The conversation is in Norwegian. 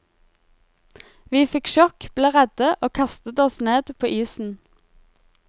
Vi fikk sjokk, ble redde og kastet oss ned på isen.